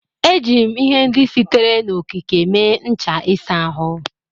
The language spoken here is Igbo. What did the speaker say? Eji m ihe ndị sitere n'okike mee ncha ịsa ahụ.